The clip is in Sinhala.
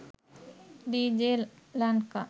dj lanka